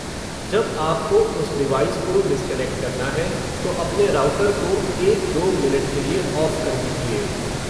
जब आपको उस डिवाइस को डिसकनेक्ट करना है, तो अपने राऊटर को एक-दो मिनट के लिए ऑफ़ कर दीजिए.